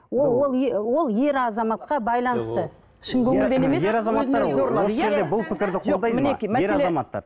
ол ол ер азаматқа байланысты